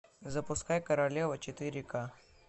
запускай королева четыре ка